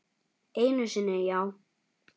Einu sinni, já.